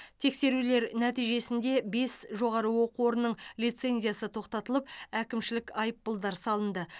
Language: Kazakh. тексерулер нәтижесінде бес жоғары оқу орнының лицензиясы тоқтатылып әкімшілік айыппұлдар салынды